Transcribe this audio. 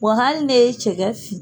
Wa hali ne ye cɛgɛ fin